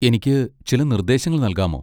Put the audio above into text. എനിക്ക് ചില നിർദ്ദേശങ്ങൾ നൽകാമോ?